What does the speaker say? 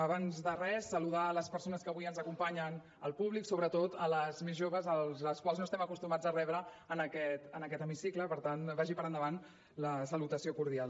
abans de res saludar les persones que avui ens acompanyen al públic sobretot les més joves les quals no estem acostumats a rebre en aquest hemicicle per tant vagi per endavant la salutació cordial